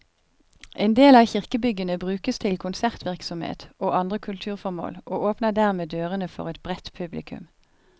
En del av kirkebyggene brukes til konsertvirksomhet og andre kulturformål, og åpner dermed dørene for et bredt publikum.